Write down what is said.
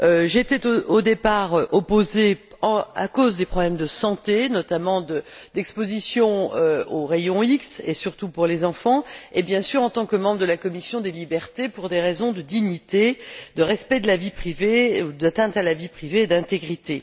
J'y étais, au départ, opposée à cause des problèmes de santé, notamment liées à l'exposition aux rayons X, surtout pour les enfants, et, bien sûr, en tant que membre de la commission des libertés pour des raisons de dignité, de respect de la vie privée ou d'atteinte à la vie privée et d'intégrité.